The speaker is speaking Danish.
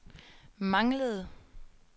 manglede